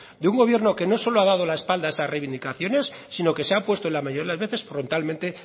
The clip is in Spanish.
de un gobierno que no solo ha dado la espalda a esa reivindicaciones sino que se ha opuesta en la mayoría de las veces frontalmente